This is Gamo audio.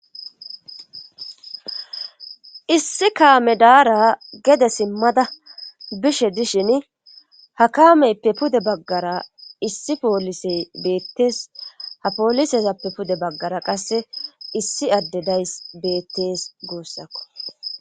Issi kaame daara gede simmada bishe dishini ha kaameppe pude baggara issi poolisey beetees ha poolisezappe pude baggara qasse issi adde dayssi beettees guussako.